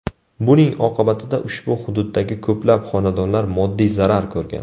Buning oqibatida ushbu hududdagi ko‘plab xonadonlar moddiy zarar ko‘rgan.